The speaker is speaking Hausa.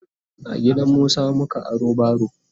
a gidansu Musa muka aro baro